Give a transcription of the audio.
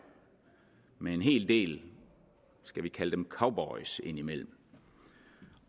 med en hel del skal vi kalde dem cowboys indimellem